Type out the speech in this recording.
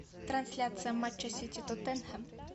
трансляция матча сити тоттенхэм